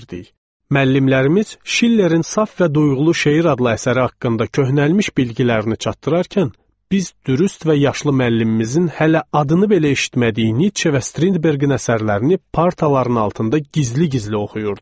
Müəllimlərimiz Schillerin “Saf və Duyğulu Şeir” adlı əsəri haqqında köhnəlmiş biliklərini çatdırarkən, biz dürüst və yaşlı müəllimimizin hələ adını belə eşitmədiyi Nietzsche və Strindbergin əsərlərini partaların altında gizli-gizli oxuyurduq.